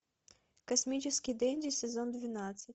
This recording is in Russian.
космический денди сезон двенадцать